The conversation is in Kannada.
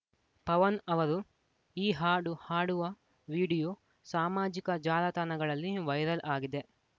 ಪವನ್‌ ಅವರು ಈ ಹಾಡು ಹಾಡುವ ವಿಡಿಯೋ ಸಾಮಾಜಿಕ ಜಾಲತಾಣಗಳಲ್ಲಿ ವೈರಲ್‌ ಆಗಿದೆ